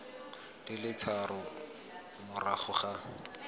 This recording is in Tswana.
di le tharo morago ga